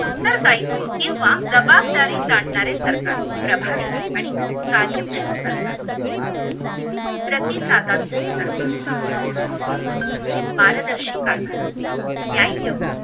उत्तर दायित्व किंवा जबाबदारी जाणणारे सरकार प्रभावी आणि कार्यक्षम सरकार प्रतिसादात्मक सरकार पारदर्शी कारभार न्याय